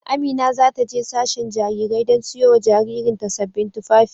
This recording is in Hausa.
Amina za ta je sashen Jarirai don siyo wa jaririn ta sabbin tufafi.